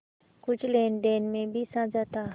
कुछ लेनदेन में भी साझा था